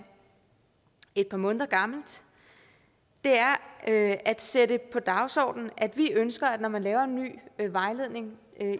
et par måneder gammelt er at at sætte på dagsordenen at vi ønsker at man når man laver en ny vejledning